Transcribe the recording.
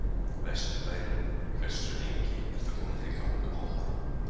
Vesturbærinn Hversu lengi ertu að koma þér í gang á morgnanna?